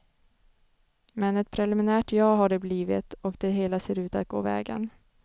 Men ett preliminärt ja har det blivit och det hela ser ut att gå vägen.